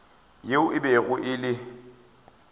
yeo e bego e le